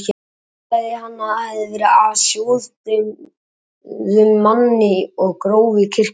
Ætlaði hann að það væri af sjódauðum manni og gróf í kirkjugarði.